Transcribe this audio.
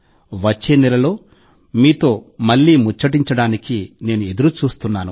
వచ్చే నెలలో మీతో అనుసంధానం అయ్యేందుకు నేను ఎదురుచూస్తున్నాను